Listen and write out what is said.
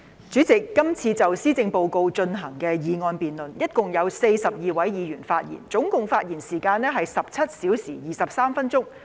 主席，這次就施政報告進行的議案辯論，一共有42位議員發言，總發言時間是17小時23分鐘。